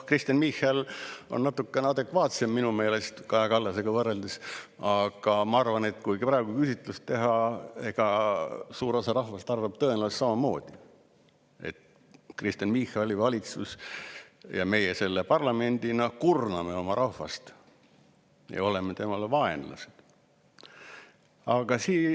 Kristen Michal on natukene adekvaatsem minu meelest Kaja Kallasega võrreldes, aga ma arvan, et kui praegu küsitlus teha, siis suur osa rahvast arvab tõenäoliselt samamoodi, et Kristen Michali valitsus ja meie selle parlamendina kurname oma rahvast ja oleme tema vaenlased.